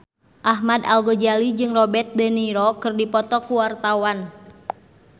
Ahmad Al-Ghazali jeung Robert de Niro keur dipoto ku wartawan